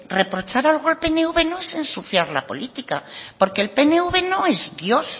reprochar algo al pnv no es ensuciar la política porque pnv no es dios